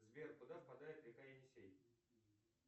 сбер куда впадает река енисей